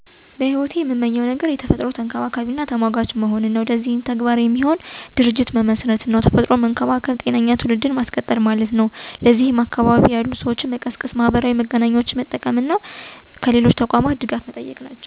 እኔ በሂወቴ እምመኘው እና ላሳከው እምፈልገው ነገር ቢኖር የአካባቢ እና የተፈጥሮ ተንከባካቢና ተሟጋች መሆን ነው። ስለሆነም ይህን ህልሜን ለማሳካት የአካባቢ እና የተፈጥሮ ተሟጋች እና ተቆርቋሪ የሚሆን ተቋም ወይም ድርጅት መመስረት ነው። ይኸን ለማድረግ ማሰቤ ባጭሩ ጠቀሜታው ለሁሉም የአዳም ዘር ነው ብየ አስባለው። አካባቢ እና ተፈጥሮን መንከባከብ ማለት ጤነኛ ትውልድን ማስቀጠል ማለት ነው። ይህን ግብ ለማሳካት እየወሰድኳቸው ያሉ እርምጃዎች በመጀመሪያ ደረጃ በአካባቢ ያሉ ሰወችን ንቃተ ህሊና ማስያዝ፣ የማህበራዊ መገናኛ ዘዴወች ቅስቀሳ መጀመር፥ ሀሳቡ እንዲደግፍ ማድረግ፤ በመቀጠል ደግሞ በተለያዩ በአካባቢ ጥበቃ የተሰማሩ ድርቶች፥ ተቋማት አና ተሟጋቾች ድጋፍ እና እገዛ አንዲያደርጉ መጠየቅ ወዘተ ናቸው።